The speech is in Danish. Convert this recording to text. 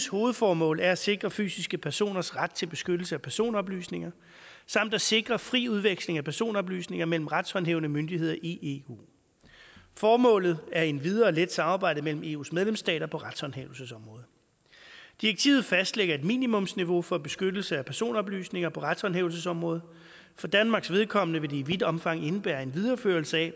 hovedformål er at sikre fysiske personers ret til beskyttelse af personoplysninger samt at sikre fri udveksling af personoplysninger mellem retshåndhævende myndigheder i eu formålet er endvidere at lette samarbejdet mellem eus medlemsstater på retshåndhævelsesområdet direktivet fastlægger et minimumsniveau for beskyttelse af personoplysninger på retshåndhævelsesområdet for danmarks vedkommende vil det i vidt omfang indebære en videreførelse af